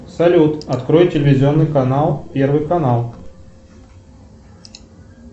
салют открой телевизионный канал первый канал